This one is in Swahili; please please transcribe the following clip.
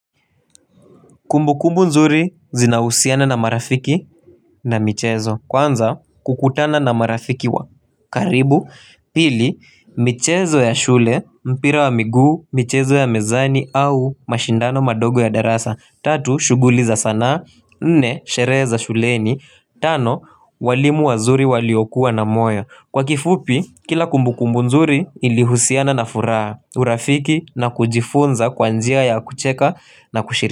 Kumbu kumbu nzuri zina husiana na marafiki na michezo. Kwanza kukutana na marafiki wa karibu. Pili michezo ya shule mpira wa miguu, michezo ya mezani au mashindano madogo ya darasa. Tatu shughuliza sana, nne shereheza shuleni. Tano walimu wazuri waliokuwa na moyo. Kwa kifupi kila kumbu kumbu nzuri ilihusiana na furaha. Urafiki na kujifunza kwanjia ya kucheka na kushirika.